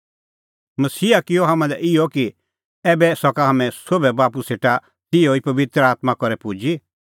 मसीहा किअ हाम्हां लै इहअ कि ऐबै सका हाम्हैं सोभै बाप्पू सेटा तैहा ई पबित्र आत्मां करै पुजी